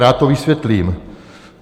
Rád to vysvětlím.